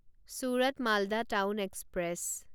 Surat Malda town express